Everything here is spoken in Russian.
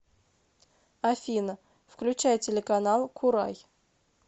афина включай телеканал курай